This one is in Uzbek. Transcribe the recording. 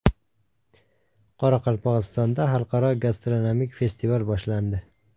Qoraqalpog‘istonda Xalqaro gastronomik festival boshlandi.